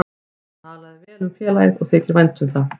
Hann talar vel um félagið og þykir vænt um það.